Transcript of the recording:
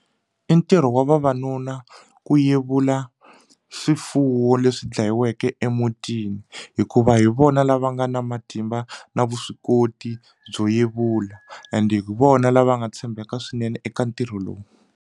I ntirho wa vavanuna ku yevula swifuwo leswi dlayiweke emutini hikuva hi vona lava nga na matimba na vuswikoti byo yevula and hi vona lava nga tshembeka swinene eka ntirho lowu.